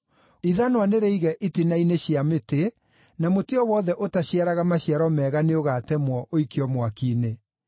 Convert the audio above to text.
Ithanwa nĩrĩige itina-inĩ cia mĩtĩ, na mũtĩ o wothe ũtaciaraga maciaro mega nĩũgatemwo, ũikio mwaki-inĩ.